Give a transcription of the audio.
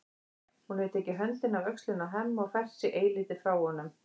Hún hefur tekið höndina af öxlinni á Hemma og fært sig eilítið frá honum.